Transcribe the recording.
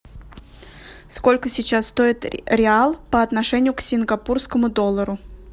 сколько сейчас стоит реал по отношению к сингапурскому доллару